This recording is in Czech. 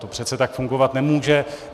To přece tak fungovat nemůže.